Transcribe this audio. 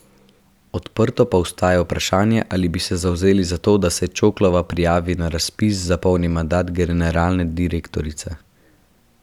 Odprto pa ostaja vprašanje, ali bi se zavzeli za to, da se Čoklova prijavi na razpis za polni mandat generalne direktorice.